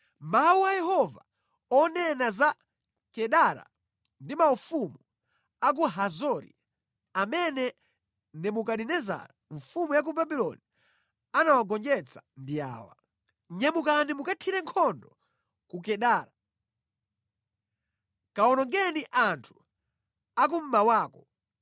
Mawu a Yehova onena za Kedara ndi maufumu a ku Hazori, amene Nebukadinezara mfumu ya Babuloni anawagonjetsa ndi awa: “Nyamukani mukathire nkhondo ku Kedara. Kawonongeni anthu a kummawako.